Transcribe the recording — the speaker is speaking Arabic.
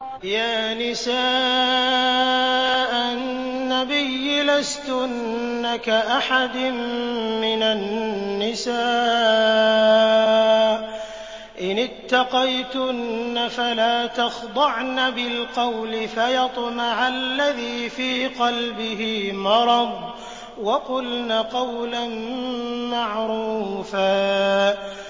يَا نِسَاءَ النَّبِيِّ لَسْتُنَّ كَأَحَدٍ مِّنَ النِّسَاءِ ۚ إِنِ اتَّقَيْتُنَّ فَلَا تَخْضَعْنَ بِالْقَوْلِ فَيَطْمَعَ الَّذِي فِي قَلْبِهِ مَرَضٌ وَقُلْنَ قَوْلًا مَّعْرُوفًا